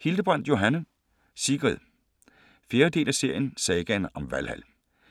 Hildebrandt, Johanne: Sigrid 4. del af serien Sagaen om Valhal.